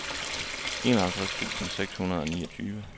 enoghalvtreds tusind seks hundrede og niogtyve